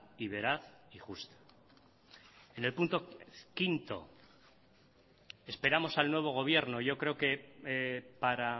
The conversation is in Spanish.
y veraz y justa en el punto cinco esperamos al nuevo gobierno yo creo que para